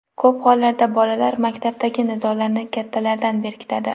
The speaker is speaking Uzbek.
Ko‘p hollarda bolalar maktabdagi nizolarni kattalardan berkitadi.